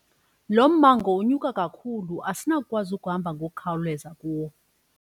Lo mmango unyuka kakhulu asinakukwazi ukuhamba ngokukhawuleza kuwo.